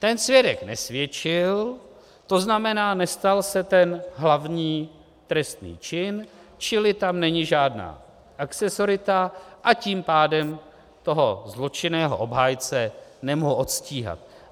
Ten svědek nesvědčil, to znamená, nestal se ten hlavní trestný čin, čili tam není žádná akcesorita, a tím pádem toho zločinného obhájce nemohu odstíhat.